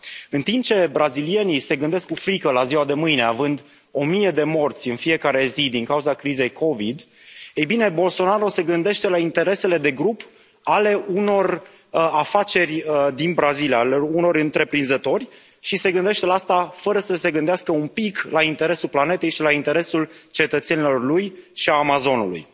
În timp ce brazilienii se gândesc cu frică la ziua de mâine, având o mie de morți în fiecare zi din cauza crizei Covid 19, ei bine, Bolsonaro se gândește la interesele de grup ale unor afaceri din Brazilia, ale unor întreprinzători și se gândește la asta fără să se gândească un pic la interesul planetei, la interesul cetățenilor ei și al Amazonului.